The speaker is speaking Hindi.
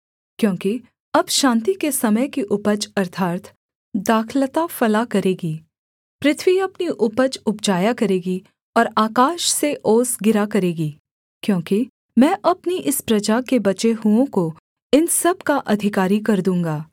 क्योंकि अब शान्ति के समय की उपज अर्थात् दाखलता फला करेगी पृथ्वी अपनी उपज उपजाया करेगी और आकाश से ओस गिरा करेगी क्योंकि मैं अपनी इस प्रजा के बचे हुओं को इन सब का अधिकारी कर दूँगा